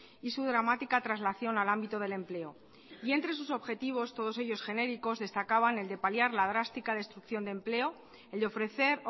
y su dramática traslación al ámbito del empleo y entre sus objetivos todos ellos genéricos destacaban el de paliar la drástica destrucción de empleo el de ofrecer